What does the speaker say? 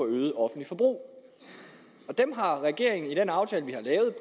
øget offentligt forbrug dem har regeringen i den aftale vi har lavet